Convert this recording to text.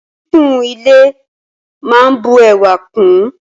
Kíkún ile máa n bu ẹwà kún ùn.